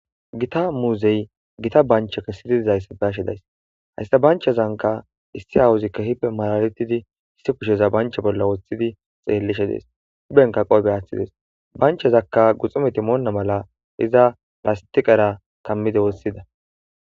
gita muuzey gita banchche kessidi dizayissa be'ashshe days hayssa banchchezankka issi awuziikka ke'ippe mallalettidi issi kushsheza banchche bolla woththiddi xeellishshe dees huphphenkka qoofe aaththides banchchezakka guxumetti moona malla iza lasttiqerra kammidde woththidees